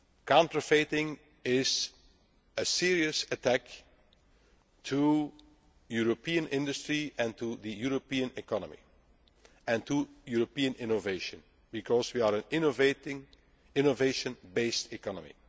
rights. Counterfeiting is a serious attack on European industry and on the European economy and on European innovation, because we are an innovation based